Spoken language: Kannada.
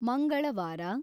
ಮಂಗಳವಾರ